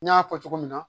N y'a fɔ cogo min na